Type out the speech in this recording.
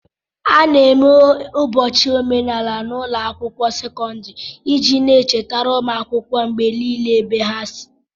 A na-eme ụbọchị omenala n'ụlọ akwụkwọ sekọndrị iji na-echetara ụmụ akwụkwọ mgbe niile ebe ha si